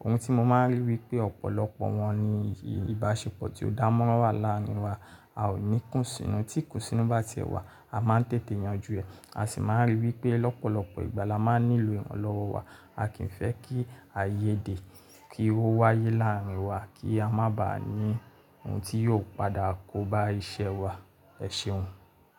Ohun tí mo máa ń rí ni wípé, ọ̀pọ̀lọpọ̀ wọn ni ìbáṣepọ̀ tí ó dá mọ́ra wà láàrin wa. A ò ní ìkún sínú, tí ìkún sínú bá ti ẹ́ wà, a máa ń tètè yanjú rẹ̀. A sì máa ń rí i wípé lọ́pọ̀lọpọ̀ ìgbà la máa nílò ìrànlọ́wọ́ wa. A kì ń fẹ́ kí àìyédè kí ó wáyé láàrin wa kí a má baà ní ohun tí yóò padà kóba iṣẹ́ wa. Ẹ̀ṣeun.